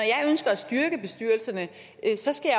jeg ønsker at styrke bestyrelserne skal